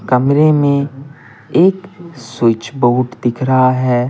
कमरे में एक स्विच बोर्ड दिख रहा है।